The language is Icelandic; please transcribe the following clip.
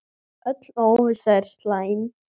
Öll óvissa er slæm.